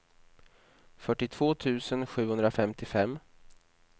fyrtiotvå tusen sjuhundrafemtiofem